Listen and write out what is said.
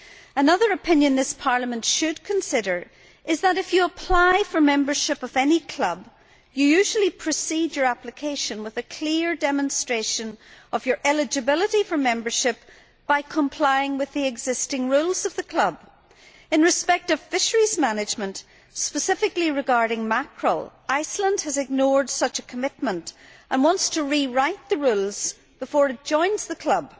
Another opinion this Parliament should consider is that, if you apply for membership of any club, you usually precede your application with a clear demonstration of your eligibility for membership by complying with the existing rules of the club. In respect of fisheries management, specifically regarding mackerel, Iceland has ignored such a commitment and wants to rewrite the rules before it joins the club.